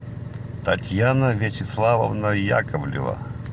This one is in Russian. татьяна вячеславовна яковлева